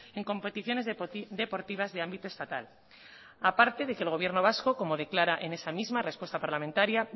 en competiciones deportivas de ámbito estatal aparte de que el gobierno vasco como declara en esa misma respuesta parlamentaria